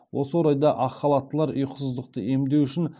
осы орайда ақ халаттылар ұйқысыздықты емдеу үшін